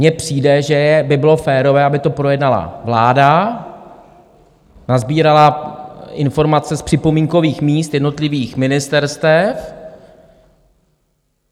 Mně přijde, že by bylo férové, aby to projednala vláda, nasbírala informace z připomínkových míst jednotlivých ministerstev.